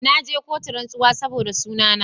Na je kotu rantsuwa saboda suna na